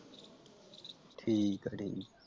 ਠੀਕਾ ਠੀਕਾ ।